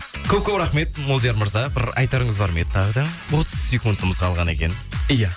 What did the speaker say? көп көп рахмет молдияр мырза бір айтарыңыз бар ма еді тағы да отыз секундымыз қалған екен ия